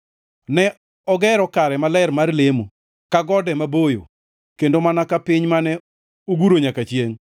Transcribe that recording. Ne ogero kare maler mar lemo, ka gode maboyo, kendo mana ka piny mane oguro nyaka chiengʼ.